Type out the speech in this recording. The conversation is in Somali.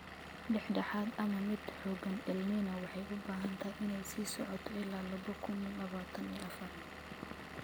Dhex dhexaad ama mid xoogan El Niño waxay u badan tahay inay sii socoto ilaa laba kuun labatan iyo afar.